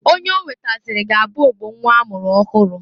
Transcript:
Onye o wetazịrị ga-abụ ogbo nnwa a mụrụ ọhụrụ.